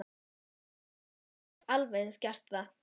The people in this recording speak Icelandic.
Jú, Lóa Lóa gat alveg eins gert það.